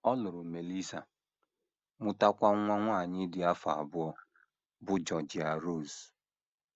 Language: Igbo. Ọ lụrụ Melissa, mụtakwa nwa nwanyị dị afọ abụọ, bụ́ Georgia Rose.